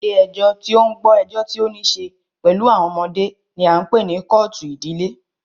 Ilé ẹjọ́ tí o ń gbọ́ ẹjọ́ tí o níṣe pẹlú àwọn ọmọdé ní a ń pé ní kọ́ọ̀tù ìdílé.